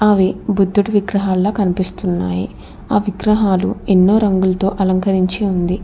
అవి బుద్ధుడి విగ్రహాల్లా కనిపిస్తున్నాయి ఆ విగ్రహాలు ఎన్నో రంగులతో అలంకరించి ఉంది.